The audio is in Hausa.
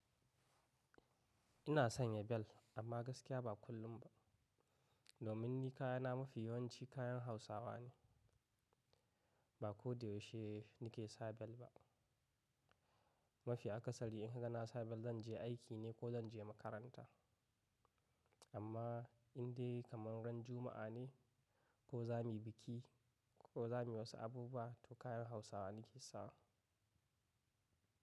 Ina sanya bel amma gaskiya ba kullum ba. Domin ni kayana mafi yawanci kayan Hausawa ne, ba ko da yaushe nike sa bel ba. Mafi akasari in ka ga na sa bel zan je aiki ne ko zan je makaranta. Amma indai kamar ran Juma'a ne ko za mu yi biki ko za mu yi wasu abubuwa to kayan Hausawa nike sawa.